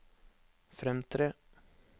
fremtre